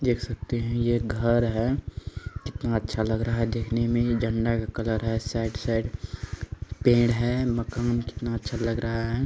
देख सकते हे यह एक घर हैं कितना अच्छा लग रहा हे दिखने में यह झंडा का कलर है साइड साइड पेड़ हे मक़ाम कितना अच्छा लग रहा है।